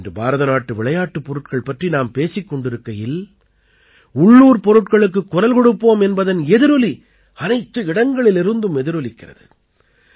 இன்று பாரதநாட்டு விளையாட்டுப் பொருட்கள் பற்றி நாம் பேசிக் கொண்டிருக்கையில் உள்ளூர் பொருட்களுக்குக் குரல் கொடுப்போம் என்பதன் எதிரொலி அனைத்து இடங்களிலிருந்தும் எதிரொலிக்கிறது